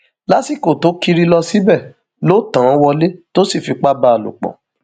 lásìkò tó kiri lọ síbẹ ló tàn án wọlé tó sì fipá bá a lò pọ